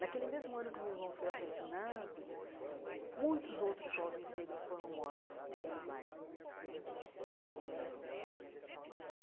Naquele mesmo ano que o meu irmão foi assassinado, muitos outros jovens negros foram mortos naquele bairro né eh.